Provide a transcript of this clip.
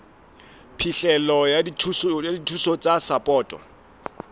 phihlelo ya dithuso tsa sapoto